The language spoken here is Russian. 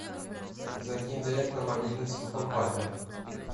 закинь денег на мобильный телефон папе